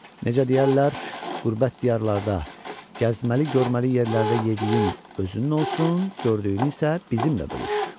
Necə deyərlər, qürbət diyarlarda gəzməli görməli yerlərdə yediyin özünnən olsun, gördüyünü isə bizimlə bölüş.